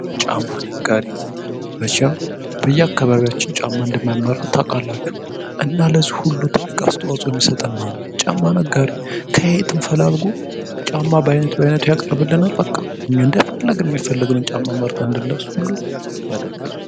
ጫማ ነጋዴ መቼም በየአካባቢያችን ጫማ እንደሚመርጥ ታውቃላችሁ እና ለዚህ ሁሉ ይጠቅማል ጫማ ነጋዴ ከትምፈላል ያቀርብልናል እኛ በአይነት ባይነቱ መርጠን እናደርጋለን።